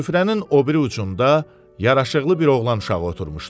Süfrənin o biri ucunda yaraşıqlı bir oğlan uşağı oturmuşdu.